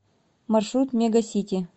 маршрут мега сити